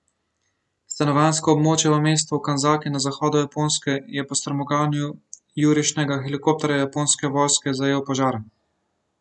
Stanovanjsko območje v mestu Kanzaki na zahodu Japonske je po strmoglavljenju jurišnega helikopterja japonske vojske zajel požar.